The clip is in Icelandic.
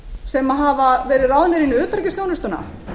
sem hafa verið ráðnir inn í utanríkisþjónustuna